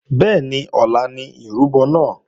Bẹ́ẹ̀ni ọ̀la ni ìrúbọ náà